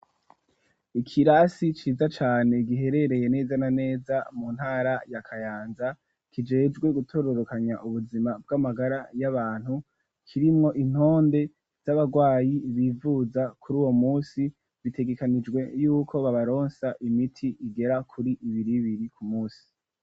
Ikirasi ciza cane giherereye neza na neza mu ntara yakayanza kijejwe gutororokanya ubuzima bw'amagara y'abantu kirimwo intonde z'abarwayi, bivuza kuri uwo musi bitegekanijwe yuko babaronsa imiti igera kuri ibiri biri ku musi.